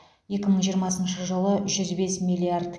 екі мың жиырмасыншы жылы жүз бес миллиард